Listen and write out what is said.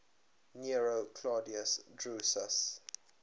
nero claudius drusus